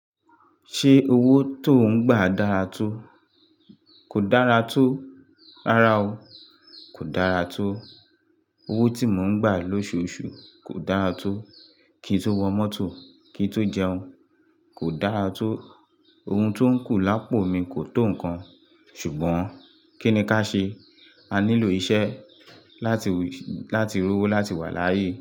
Ṣé owó tó ń gbà dára tó? Kò dára tó, rárá o. Kò dára tó. Owó tí mò ń gbà lóṣooṣù kò dára tó. Kí n tó wọ mọ́tò, kí n tó jẹun, kò dára tó. Ohun tó ń kù lápò mi kò tó nǹkan, ṣùgbọ́n kí ni ká ṣe? A nílò iṣẹ́ láti, láti rówó láti wà láyé.